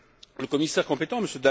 Le commissaire compétent, M.